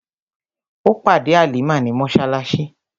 Ó pàdé Halimah ní mọ́ṣáláṣí.